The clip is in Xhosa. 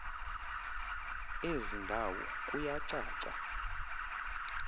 ezi ndawo kuyacaca